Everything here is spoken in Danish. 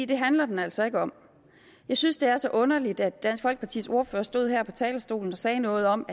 det handler den altså ikke om jeg synes det er så underligt at dansk folkepartis ordfører stod her på talerstolen og sagde noget om